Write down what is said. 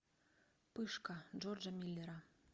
пышка джорджа миллера